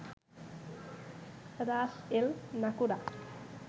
Ras el Naqoura